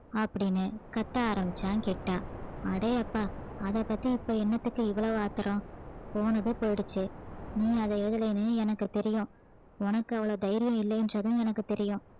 அப்படின்னு கத்த ஆரம்பிச்சான் கிட்டா அடேயப்பா அதைப் பத்தி இப்ப என்னத்துக்கு இவ்வளவு ஆத்திரம் போனது போயிடுச்சு நீ அதை எழுதலைன்னு எனக்கு தெரியும் உனக்கு அவ்வளவு தைரியம் இல்லைன்றதும் எனக்கு தெரியும்